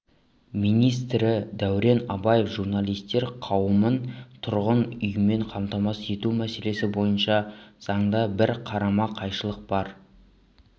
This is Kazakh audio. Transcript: министрі дәурен абаев журналистер қауымын тұрғын үймен қамтамасыз ету мәселесі бойынша заңда бір қарама-қайшылық бар